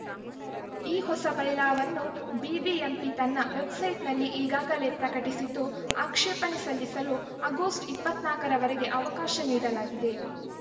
ಈ ಹೊಸ ಬೈಲಾವನ್ನು ಬಿ ಬಿ ಎಂ ಪಿ ತನ್ನ ವೆಬ್‌ಸೈಟ್‌ನಲ್ಲಿ ಈಗಾಗಲೇ ಪ್ರಕಟಿಸಿದ್ದು ಆಕ್ಷೇಪಣೆ ಸಲ್ಲಿಸಲು ಆಗಸ್ಟ್ ಇಪ್ಪತ್ತ್ ನಾಲ್ಕು ರವರೆಗೆ ಅವಕಾಶ ನೀಡಲಾಗಿದೆ